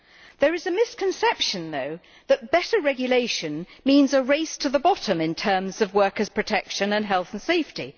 There is a misconception, though, that better regulation means a race to the bottom in terms of workers' protection and health and safety.